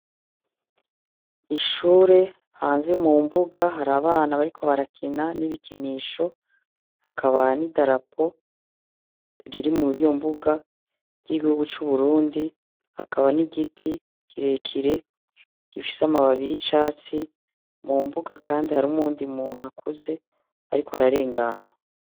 Ishure hanze mumbuga hari abana bariko barakina n'ibikinisho hakaba n'idarapo riri muriyo mbuga ry'igihugu c'uburundi hakaba n'igiti kirekire gifise amababi y'icatsi mumbuga kandi harim'undi umuntu akuze ariko ararengana .